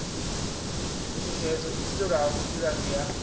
mishushedzo i itelwaho vhuḓilangi ha